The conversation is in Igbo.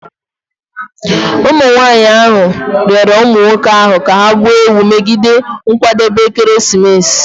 Womenmụ nwanyị ahụ rịọrọ ụmụ nwoke ahụ ka ha gbuo ewu megide nkwadebe ekeresimesi